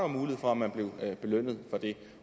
mulighed for at man blev belønnet for det